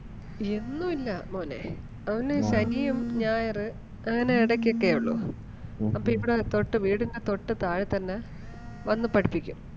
എന്നും ഇല്ല മോനെ അവന് ശനിയും ഞായറ് അങ്ങനെ എടയ്ക്ക് ഒക്കെ ഒള്ളൂ. അപ്പം ഇവിടെ തൊട്ട് വീടിന്റെ തൊട്ട് താഴെ തന്നെ വന്ന് പഠിപ്പിക്കും.